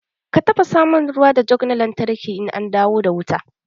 Ka tafasa mun ruwa da jug na lantarki in an dawo da wuta.